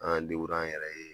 An an yɛrɛ ye